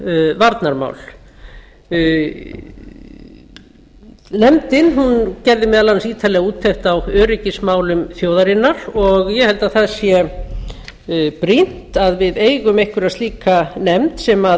og varnarmál nefndin gerði meðal annars ítarlega úttekt á öryggismálum þjóðarinnar og ég held að það sé brýnt að við eigum einhverja slíka nefnd sem